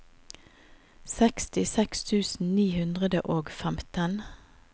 sekstiseks tusen ni hundre og femten